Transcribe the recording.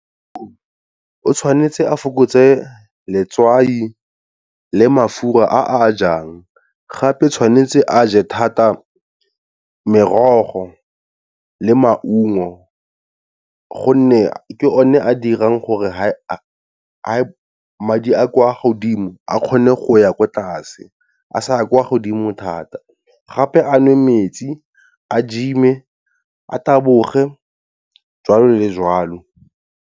O tshwanetse a fokotse letswai le mafura a ajang gape tshwanetse a je thata merogo le maungo, gonne ke o ne a dirang gore a madi a kwa godimo a kgone go ya ko tlase a sa kwa godimo thata gape a nwe metsi a gym-e a taboge jwalo le jwalo.